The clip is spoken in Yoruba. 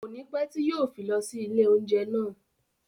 Kònípẹ́ tí yìí ó fi lọ sí ilé oúnjẹ náà.